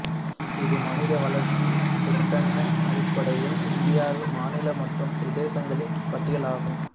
இது மனித வளர்ச்சிச் சுட்டெண் அடிப்படையில் இந்தியாவின் மாநில மற்றும் பிரதேசங்களின் பட்டியலாகும்